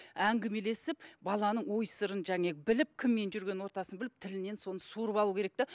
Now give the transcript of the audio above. әңгімелесіп баланың ой сырын біліп кіммен жүрген ортасын біліп тілінен соны суырып алу керек те